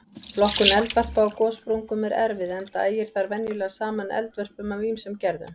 Flokkun eldvarpa á gossprungum er erfið enda ægir þar venjulega saman eldvörpum af ýmsum gerðum.